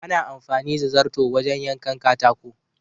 Ana anfani da zarto wajen yankan katako.